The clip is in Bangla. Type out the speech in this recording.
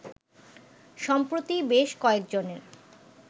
সম্প্রতি বেশ কয়েকজনের